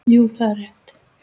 Jú, það er rétt.